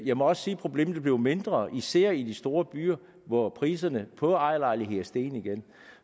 jeg må også sige at problemet er blevet mindre især i de store byer hvor priserne på ejerlejligheder er steget igen